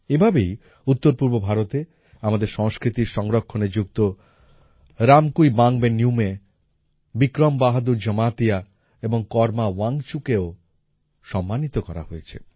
এভাবেই উত্তরপূর্ব ভারতে আমাদের সংস্কৃতির সংরক্ষণে যুক্ত রামকুইবাঙবে নিউমে বিক্রম বাহাদুর জমাতিয়া এবং করমা ওয়াংচুককেও সম্মানিত করা হয়েছে